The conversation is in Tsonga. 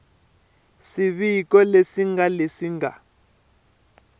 swiviko leswi ngana leswi nga